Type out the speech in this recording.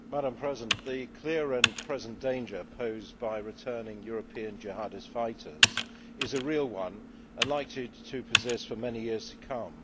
Madam President, the clear and present danger posed by returning European jihadist fighters is a real one and likely to persist for many years to come.